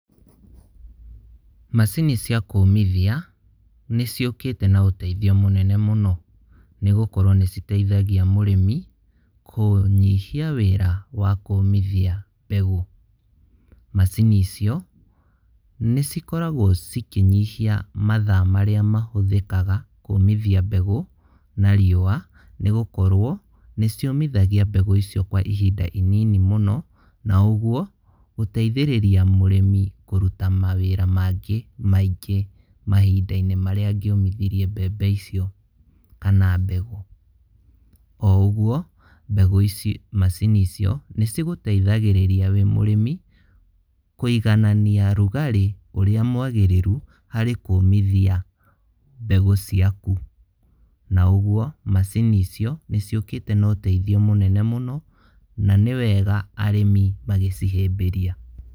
Macini cia kũũmithia, nĩ ciũkĩte na ũtethio mũnene mũno, nĩgũkorwo nĩ citethagia mũrĩmi kũnyihia wĩra wa kũũmithia mbegũ, macini icio nĩ cikoragwo cikĩnyihia matha marĩa mahũthĩkaga kũmithia mbegũ na riũa, nĩgũkorwo, nĩ ciũmithagĩa mbegũ icio kwa ihinda inini mũno, na ũguo, gũtethĩrĩria mũrĩmi kũruta mawĩra mangĩ maingĩ mahindainĩ marĩa angĩomithirie mbembe icio, kana mbegũ.O ũguo, mbegũ ici, macini icio nĩ cigũteithagĩrĩria wĩ mũrĩmi kwĩiganania rugarĩ ũrĩa mwagĩrĩru harĩ kũmithia mbegũ ciaku, na ũguo macini icio nĩ ciũkĩte na ũtethio mũnene mũno, na nĩ wega arĩmi magĩcihĩmbĩria.